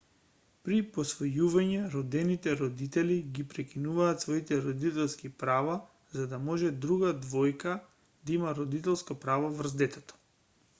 при посвојување родените родители ги прекинуваат своите родителски права за да може друга двојка да има родителско право врз детето